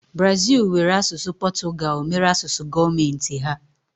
Brazil were asụsụ Portugal mere asụsụ gọọmenti ha.